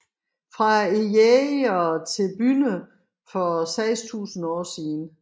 Fra jægere til bønder for 6000 år siden